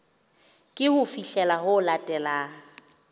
ke ho fihlela ho latelang